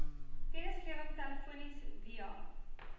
kennisgewing telefonies via